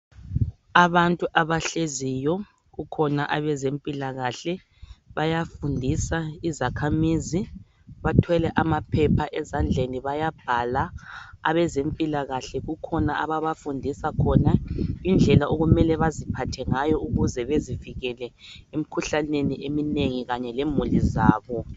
Abantu abahleziyo kukhona abezempilakahle bayafundisa izakhamizi. Bathwele amaphepha ezandleni bayabhala. Abezempilakahle kukhona ababafundisa khona, indlela okumele baziphathe ngayo ukuze bezivikele emkhuhlaneni eminengi kanye lemuli zakho.